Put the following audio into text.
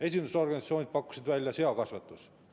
Esindusorganisatsioonid pakkusid välja seakasvatuse.